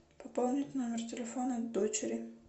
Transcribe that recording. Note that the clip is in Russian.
пополнить номер телефона дочери